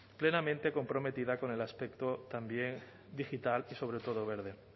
plenamente comprometida con el aspecto también digital y sobre todo verde